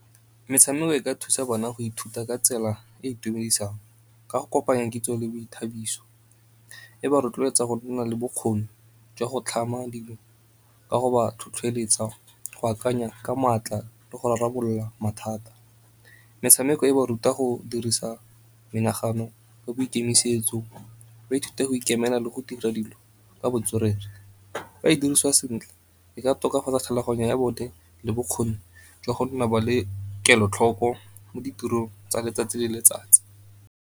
Metshameko e ka thusa bana go ithuta ka tsela e e itumedisang ka go kopanya kitso le boithabiso. E ba rotloetsa go nna le bokgoni jwa go tlhama dilo ka go ba tlhotlheletsa go akanya ka maatla le go rarabolola mathata. Metshameko e ba ruta go dirisa menagano le boikemisetso ba ithuta go ikemela le go dira dilo ka botswerere. Fa e diriswa sentle e ka tokafatsa tlhaloganya ya bone le bokgoni jwa go nna ba le kelotlhoko mo ditirong tsa letsatsi le letsatsi.